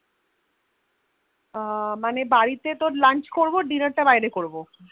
এর মানে বাড়িতে তোর Lunch করবো Dinner তা বাইরে করবো